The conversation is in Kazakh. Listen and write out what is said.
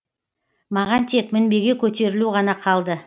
маған тек мінбеге көтерілу ғана қалды